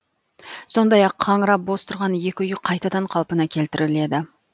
сондай ақ қаңырап бос тұрған екі үй қайтадан қалпына келтіріледі